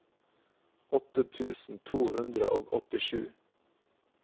åttiåtte tusen to hundre og åttisju